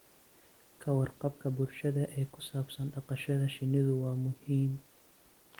Ka warqabka bulshada ee ku saabsan dhaqashada shinnidu waa muhiim.